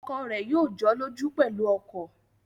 Ọkọ rẹ̀ yóò jọ́lọ́jú pẹ̀lú ọkọ̀